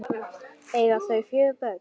Eiga þau fjögur börn.